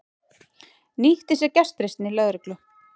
Nýtti sér gestrisni lögreglu